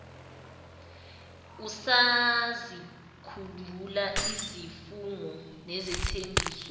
usazikhumbula izifungo nezithembiso